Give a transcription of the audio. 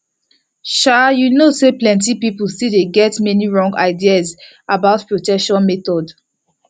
shay you know say plenty people still get many wrong ideas about protection methods